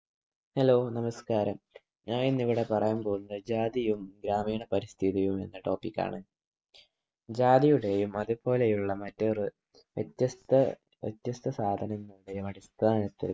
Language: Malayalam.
hello നമസ്ക്കാരം ഞാൻ ഇന്ന് ഇവിടെ പറയാൻ പോവുന്നത് ജാതിയും ഗ്രാമീണ പരിസ്ഥിതിയും എന്ന Topic ആണ് ജാതിയുടെയും അതുപോലെയുള്ള മറ്റു റെ വ്യത്യസ്ത വ്യത്യസ്ത സാധനങ്ങളുടെയും അടിസ്ഥാനത്തിൽ